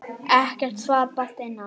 Ekkert svar barst að innan.